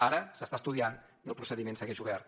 ara s’està estudiant i el procediment segueix obert